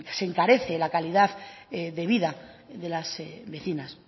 se encarecen la calidad de vida de las vecinas